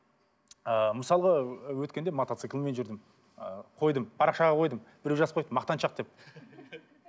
ыыы мысалға өткенде мотоциклмен жүрдім ы қойдым парақшаға қойдым біреу жазып қойыпты мақтаншақ деп